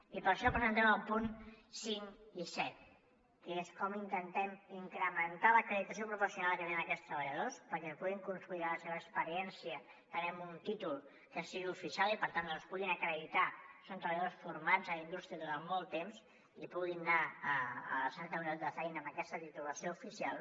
i per això presentem el punt cinc que és com intentem incrementar l’acreditació professional que tenen aquests treballadors perquè puguin consolidar la seva experiència també amb un títol que sigui oficial i per tant que puguin acreditar que són treballadors formats a la indústria durant molt temps i puguin anar a la recerca d’un lloc de feina amb aquesta titulació oficial